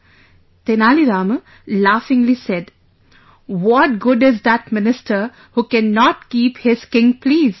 " Tenali Rama laughingly said, "What good is that minister who cannot keep his king pleased